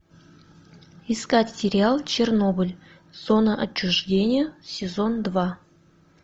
искать сериал чернобыль зона отчуждения сезон два